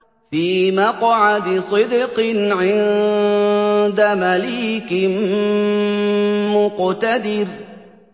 فِي مَقْعَدِ صِدْقٍ عِندَ مَلِيكٍ مُّقْتَدِرٍ